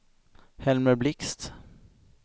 Helmer Blixt